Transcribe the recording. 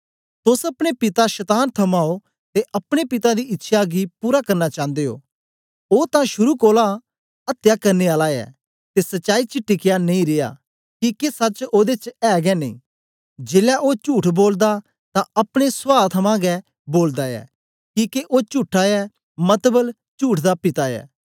तोस अपने पिता शतान थमां ओ ते अपने पिता दी इच्छया गी पूरा करना चांदे ओ ओ तां शुरू कोलां थमां अत्या करने आला ऐ ते सचाई च टिकया नेई रिया किके सच ओदे च ऐ गै नेई जेलै ओ चुठ बोलदा तां अपने स्वा थमां गै बोलदा ऐ किके ओ चुट्ठा ऐ मतबल चुठ दा पिता ऐ